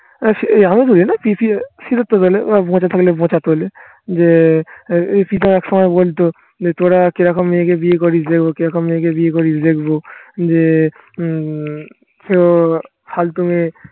পচা থাকলে পচাতে হলে যে এক সময় বলতো যে তোরা কিরকম মেয়েকে বিয়ে করিস দেখবো কিরকম মেয়েকে বিয়ে করিস দেখবো যে উম সে ও ফালতু মেয়ে